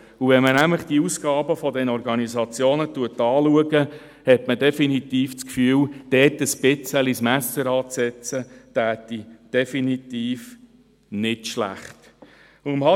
Wenn man nämlich die Ausgaben dieser Organisationen anschaut, hat man definitiv den Eindruck, dass es nicht schlecht wäre, dort ein wenig das Messer anzusetzen.